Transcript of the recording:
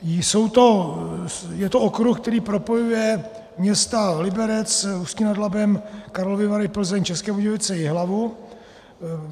Je to okruh, který propojuje města Liberec, Ústí nad Labem, Karlovy Vary, Plzeň, České Budějovice, Jihlavu.